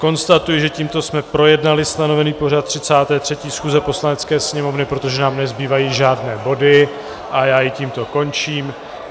Konstatuji, že tímto jsme projednali stanovený pořad 33. schůze Poslanecké sněmovny, protože nám nezbývají žádné body, a já ji tímto končím.